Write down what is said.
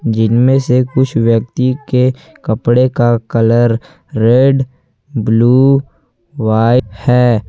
जिनमें से कुछ व्यक्ति के कपड़े का कलर रेड ब्लू व्हाइट है।